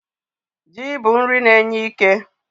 Ji bụ nri na-enye ike.